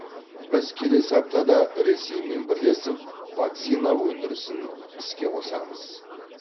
біз келесі аптада ресеймен бірлесіп вакцина өндірісін іске қосамыз